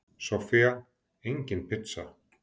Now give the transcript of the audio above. Soffía: Engin pizza.